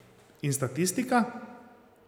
In statistika?